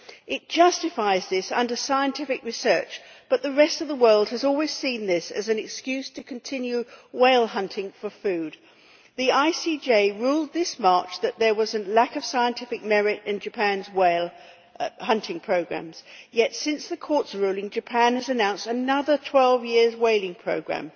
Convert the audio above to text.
It justifies this under scientific research, but the rest of the world has always seen this as an excuse to continue whale hunting for food. The ICJ ruled this March that there was a lack of scientific merit in Japan's whale hunting programs, yet, since the court's ruling, Japan has announced another 12 year whaling program.